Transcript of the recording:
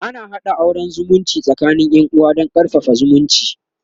ana haɗa auran zumunci tsakanin Yan uwa Dan karfafa zumunci